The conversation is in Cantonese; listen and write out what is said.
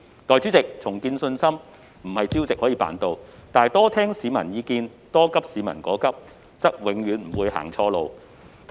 代理主席，重建信心不能朝夕達成，但多聆聽市民意見，多急市民所急，則永遠也不會走錯路。